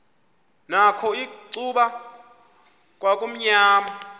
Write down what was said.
nakho icuba kwakumnyama